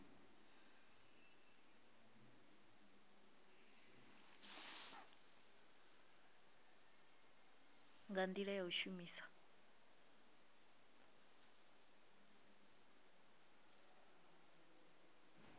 nga ndila ya u shumisa